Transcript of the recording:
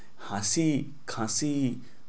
হাঁচি খাচি